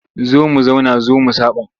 Zo mu zauna zo mu saɓa.